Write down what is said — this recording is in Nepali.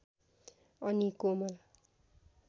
अनि कोमल